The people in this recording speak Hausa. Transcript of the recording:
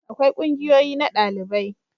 akwai ƙungiyoyi na dalibai